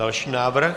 Další návrh?